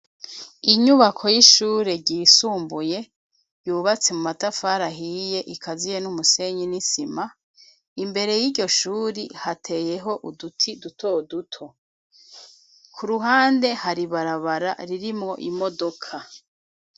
Inyubako y'ishure ryisumbuye, yubatse mu matafari ahiye, ikaziye n'umusenyi n'isima, imbere y'iryo shuri, hateyeho uduti duto duto; ku ruhande, hari ibarabara, ririmwo imodoka.